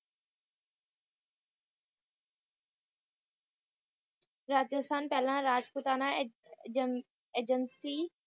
ਰਾਜਸਥਾਨ ਪਹਿਲਾ ਰਾਜਪੁਤਾਨਾ ਹੈ Agency